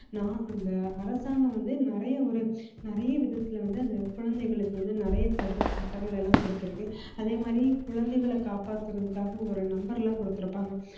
நான் அந்த அரசாங்கம் வந்து நிறைய ஒரு நிறைய விதத்துல வந்து அந்த குழந்தைகளுக்கு வந்து நிறைய தடுப்பு சட்டங்கள் எல்லாம் கொடுத்திருக்கு அதே மாதிரி குழந்தைகளை காப்பாத்துறதுக்காக ஒரு number எல்லாம் கொடுத்திருப்பாங்க